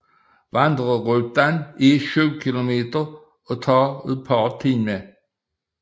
Vandreruten er 7 kilometer og tager et par timer